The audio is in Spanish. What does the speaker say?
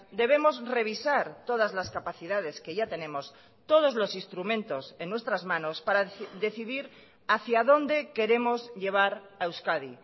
debemos revisar todas las capacidades que ya tenemos todos los instrumentos en nuestras manos para decidir hacia dónde queremos llevar a euskadi